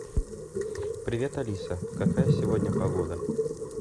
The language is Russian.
привет алиса какая сегодня погода